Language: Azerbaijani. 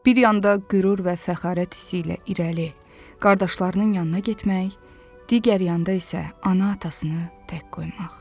Bir yanda qürur və fəxarət hissi ilə irəli, qardaşlarının yanına getmək, digər yanda isə ana-atasını tək qoymaq.